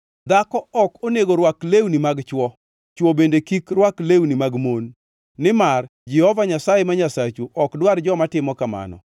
Dhako ok onego rwak lewni mag chwo, chwo bende kik rwak lewni mag mon, nimar Jehova Nyasaye ma Nyasachu ok dwar joma timo kamano.